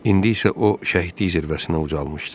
İndi isə o şəhidlik zirvəsinə ucalmışdı.